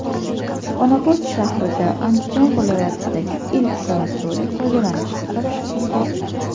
Xonobod shahrida Andijon viloyatidagi ilk sanatoriy foydalanishga topshirildi.